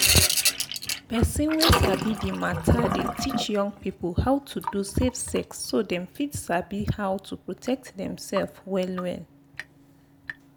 person wey sabi the matter dey teach young people how to do safe sex so dem fit sabi how to protect dem sef well well.